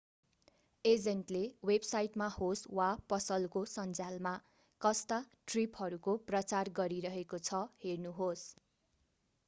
एजेन्टले वेबसाइटमा होस् वा पसलको सन्झ्यालमा कस्ता ट्रिपहरूको प्रचार गरिरहेको छ हेर्नुहोस्